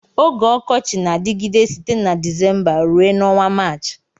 Oge ọkọchi na-adịgide site na Dịzémbá rue na ọnwa Maachị